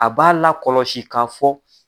A b'a lakɔlɔsi ka fɔ